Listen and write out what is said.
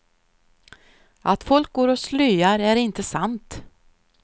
Att folk går och slöar är inte sant.